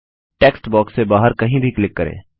text box से बाहर कहीं भी क्लिक करें